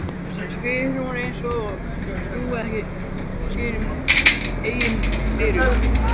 spyr hún eins og hún trúi ekki sínum eigin eyrum.